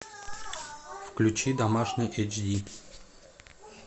включи домашний эйч ди